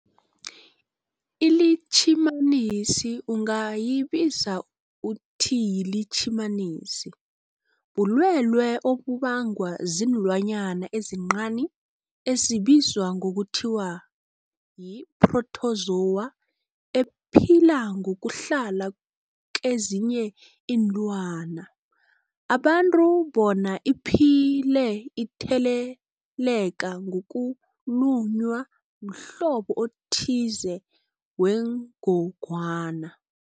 iLitjhimanisi ungayibiza uthiyilitjhimanisi, bulwelwe obubangwa silwanyana esincani esibizwa ngokuthiyi-phrotozowa ephila ngokuhlala kezinye iinlwana, abantu bona iphile itheleleka ngokulunywa mhlobo othize wengogwana.